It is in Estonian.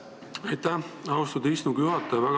Aitäh, austatud istungi juhataja!